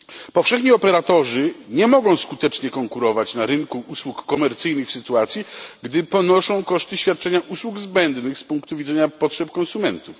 Powszechni operatorzy nie mogą skutecznie konkurować na rynku usług komercyjnych w sytuacji, gdy ponoszą koszty świadczenia usług zbędnych z punktu widzenia potrzeb konsumentów.